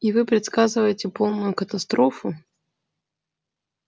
и вы предсказываете полную катастрофу